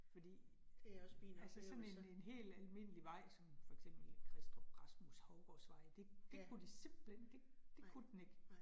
Fordi altså sådan en en helt almindelig vej som for eksempel Kristrup Rasmus Hougårds vej, det det kunne de simpelthen, det det kunne den ikke